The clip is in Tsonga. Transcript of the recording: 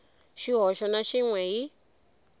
xihoxo na xin we hi